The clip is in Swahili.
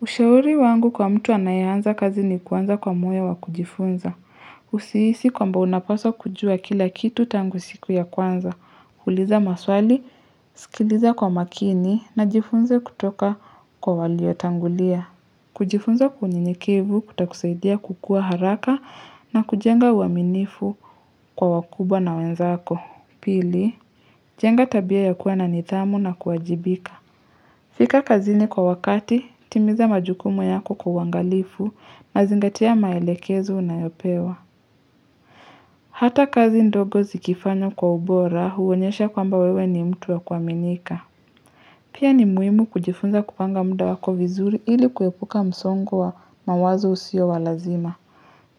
Ushauri wangu kwa mtu anae anza kazi ni kuanza kwa muyo wa kujifunza. Usihisi kwamba unapaswa kujua kila kitu tangu siku ya kwanza. Uliza maswali, sikiliza kwa makini na jifunze kutoka kwa walio tangulia. Kujifunza unyenyekevu utakusaidia kukua haraka na kujenga uaminifu kwa wakubwa na wenzako. Pili, jenga tabia ya kuwa na nidhamu na kuajibika. Fika kazini kwa wakati, timiza majukumu yako kwa uangalifu na zingatia maelekezo unayopewa. Hata kazi ndogo zikifanywa kwa ubora huonyesha kwamba wewe ni mtu wa kuaminika. Pia ni muhimu kujifunza kupanga muda wako vizuri ili kuepuka msongo wa mawazo usio wa lazima.